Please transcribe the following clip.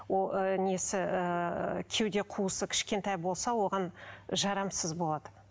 несі ыыы кеуде қуысы кішкентай болса оған жарамыз болады